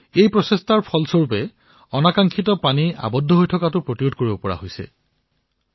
এই প্ৰয়াসৰ দ্বাৰা পানী জমা হোৱাৰ সমস্যাৰ সমাধান হৈচে